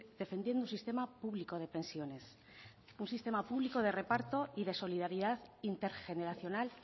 defendiendo un sistema público de pensiones un sistema público de reparto y de solidaridad intergeneracional